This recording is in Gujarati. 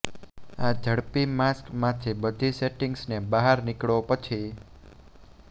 આ ઝડપી માસ્ક માંથી બધી સેટિંગ્સને બહાર નીકળો પછી